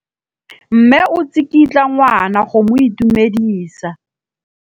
Mme o tsikitla ngwana go mo itumedisa.